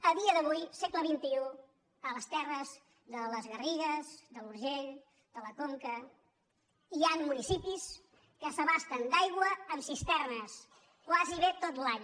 a dia d’avui segle xxi a les terres de les garrigues de l’urgell de la conca hi han municipis que s’abasten d’aigua amb cisternes gairebé tot l’any